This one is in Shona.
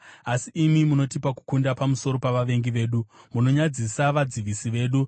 asi imi munotipa kukunda pamusoro pavavengi vedu, munonyadzisa vadzivisi vedu.